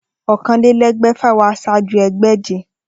Okanlelegbèfà wá sáájú egbèje